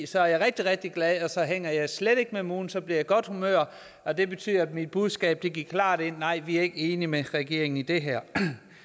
så er jeg rigtig rigtig glad og så hænger jeg slet ikke med mulen så bliver jeg i godt humør og det betyder at mit budskab gik klart ind nej vi er ikke enige med regeringen om det her